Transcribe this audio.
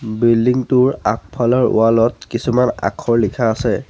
Building টোৰ আগফলৰ wall ত কিছুমান আখৰ লিখা আছে।